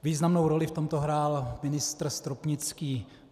Významnou roli v tomto hrál ministr Stropnický.